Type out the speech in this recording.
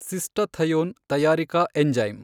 ಸಿಸ್ಟಥಯೋನ್ ತಯಾರಿಕಾ ಎಂಜೈಮ್